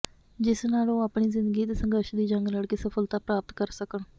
ਜਿਸ ਨਾਲ ਉਹ ਆਪਣੀ ਜਿੰਦਗੀ ਦੇ ਸਘੰਰਸ਼ ਦੀ ਜੰਗ ਲੜਕੇ ਸਫਲਤਾ ਪ੍ਰਾਪਤ ਕਰ ਸਕਣ